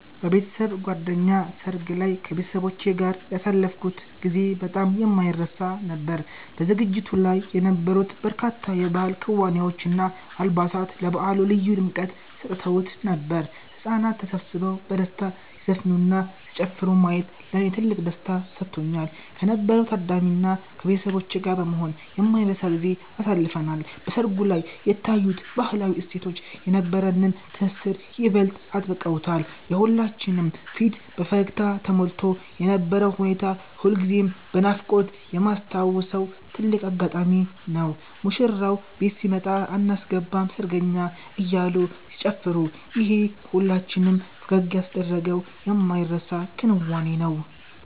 በቤተሰብ ጓደኛ ሰርግ ላይ ከቤተሰቦቼ ጋር ያሳለፍኩት ጊዜ በጣም የማይረሳ ነበር። በዝግጅቱ ላይ የነበሩት በርካታ የባህል ክዋኔዎች እና አልባሳት ለበዓሉ ልዩ ድምቀት ሰጥተውት ነበር። ህጻናት ተሰብስበው በደስታ ሲዘፍኑና ሲጨፍሩ ማየት ለኔ ትልቅ ደስታን ሰጥቶኛል። ከነበረው ታዳሚ እና ከቤተሰቦቼ ጋር በመሆን የማይረሳ ጊዜን አሳልፈናል። በሰርጉ ላይ የታዩት ባህላዊ እሴቶች የነበረንን ትስስር ይበልጥ አጥብቀውታል። የሁላችንም ፊት በፈገግታ ተሞልቶ የነበረው ሁኔታ ሁልጊዜም በናፍቆት የማስታውሰው ትልቅ አጋጣሚ ነው። ሙሽራው ቤት ሲመጣ አናስገባም ሰርገኛ አያሉ ሲጨፋሩ ይሄ ሁላችንም ፈገግ ያስደረገው የማይረሳ ክንዋኔ ነው